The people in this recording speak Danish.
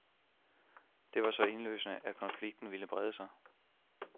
Det var så indlysende, at konflikten ville brede sig.